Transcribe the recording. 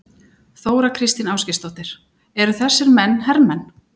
Þóra Kristín Ásgeirsdóttir: Eru þessir menn hermenn?